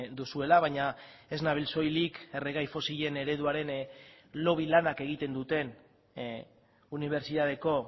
duzuela baina ez nabil soilik erregai fosilen ereduaren lobby lanak egiten duten unibertsitateko